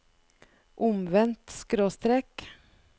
omvendt skråstrek